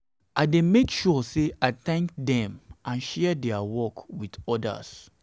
i dey make sure say i thank dem and share dia work with odas.